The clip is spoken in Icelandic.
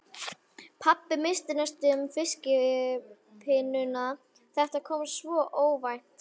Pabbi missti næstum fiskkippuna, þetta kom svo óvænt.